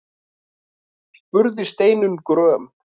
spurði Steinunn gröm.